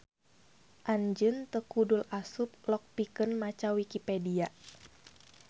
Anjeun teu kudul asup log pikeun maca Wikipedia